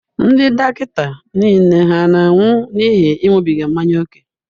Ndị dọkịta niile hà na-anwụ n'ihi ịṅụbiga mmanya ókè?